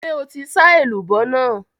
Ṣé o ti sá èlùbọ́ nàá?